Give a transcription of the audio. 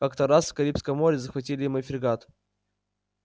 как-то раз в карибском море захватили мы фрегат